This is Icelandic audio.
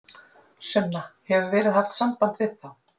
Sunna: Hefur verið haft samband við þá?